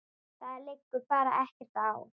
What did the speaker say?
Það liggur bara ekkert á.